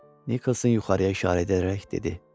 Nikolson yuxarıya işarə edərək dedi.